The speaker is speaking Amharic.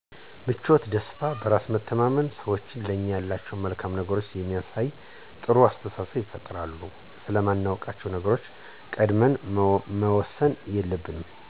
ምቾትና፣ ደስታ፣ በራስ መተማመን፣ ሰዎቹ ለኛ ያላቸውን መልካም ነገር ስለሚያሳየን ጥሩ አስተሳሰብ ይፈጥሩልናል፤ ስለማናውቃቸዉ ነገሮች ቀድመን መወሰን የለብንም